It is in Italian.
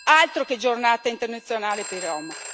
Altro che giornata internazionale per i rom.